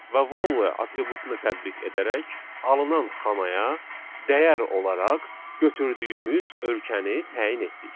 Və value atributunu tətbiq edərək alınan xanaya dəyər olaraq götürdüyümüz ölkəni təyin etdik.